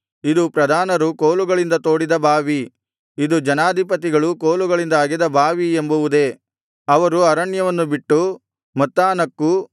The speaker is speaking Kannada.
ಇದು ಪ್ರಧಾನರು ಕೋಲುಗಳಿಂದ ತೋಡಿದ ಬಾವಿ ಇದು ಜನಾಧಿಪತಿಗಳು ಕೋಲುಗಳಿಂದ ಅಗೆದ ಬಾವಿ ಎಂಬುವುದೇ ಅವರು ಅರಣ್ಯವನ್ನು ಬಿಟ್ಟು ಮತ್ತಾನಕ್ಕೂ